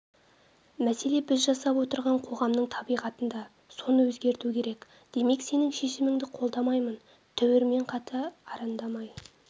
мәселе біз жасап отырған қоғамның табиғатында соны өзгерту керек демек сенің шешіміңді қолдамаймын түбірмен қате арандамай